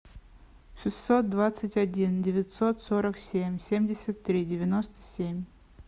шестьсот двадцать один девятьсот сорок семь семьдесят три девяносто семь